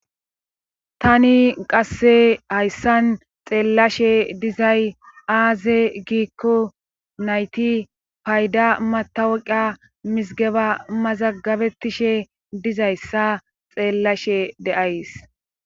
tani qasse hayssan xeellashe dizay aaze giikko nayti payda matawaqa misigeba mazagabettishe dizayssa xeellashe deays